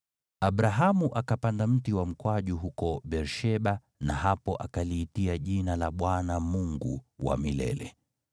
Abrahamu akapanda mti wa mkwaju huko Beer-Sheba, na hapo akaliitia jina la Bwana , Mungu wa milele.